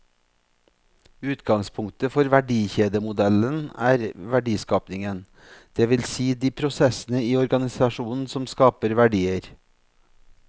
Utgangspunktet for verdikjedemodellen er verdiskapingen, det vil si de prosessene i organisasjonen som skaper verdier.